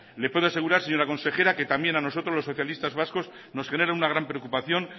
le puedo asegurar señora consejera que también a nosotros los socialistas vascos nos genera una gran preocupación